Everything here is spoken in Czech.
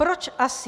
Proč asi?